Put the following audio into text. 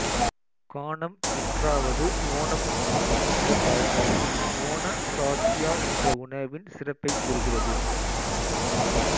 கானம் விற்றாவது ஓணம் உண் என்ற பழமொழி ஓண சாத்யா என்ற உணவின் சிறப்பைக் கூறுகிறது